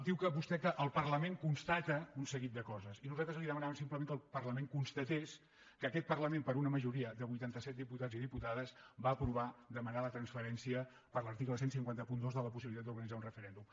diu vostre que el parlament constata un seguit de coses i nosaltres li demanàvem simplement que el parlament constatés que aquest parlament per una majoria de vuitanta set diputats i diputades va aprovar demanar la transferència per l’article quinze zero dos de la possibilitat d’organitzar un referèndum